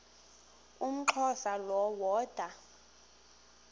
umxhosa lo woda